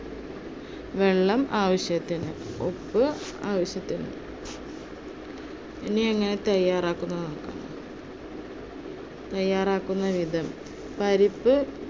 വെള്ളം ആവശ്യത്തിന്, ഉപ്പ് ആവശ്യത്തിന്. ഇനി എങ്ങനെ തയ്യാറാക്കാം എന്ന് നോക്കാം. തയ്യാറാക്കുന്ന വിധം പരിപ്പ്